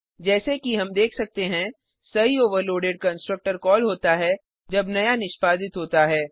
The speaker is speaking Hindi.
जैसे कि हम देख सकते हैं सही ओवरलोडेड कंस्ट्रक्टर कॉल होता है जब नया निष्पादित होता है